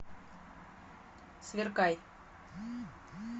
сверкай